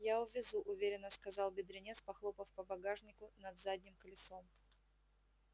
я увезу уверенно сказал бедренец похлопав по багажнику над задним колесом